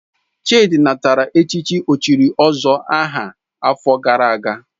Chidi natara echichi ochiri ozuor aha afo gara aga